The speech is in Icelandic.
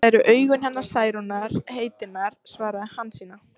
Þetta eru augun hennar Særúnar heitinnar, svaraði Hansína.